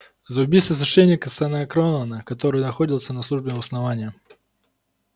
за убийство священника с анакреона который находился на службе у основания